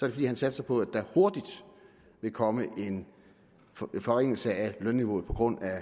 det fordi han satser på at der hurtigt vil komme en forringelse af lønniveauet på grund af